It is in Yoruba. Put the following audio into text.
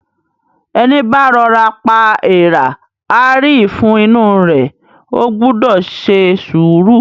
Ẹní bá rọ'ra pa èèrà, á rí ìfun inú u rẹ̀. O gbúdọ̀ se sùúrù!